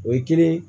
O ye kelen ye